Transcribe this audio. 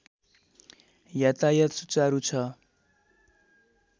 यातायत सुचारु छ